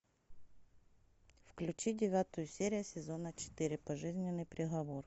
включи девятую серию сезона четыре пожизненный приговор